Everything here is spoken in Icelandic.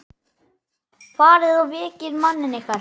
Farið og vekið manninn yðar.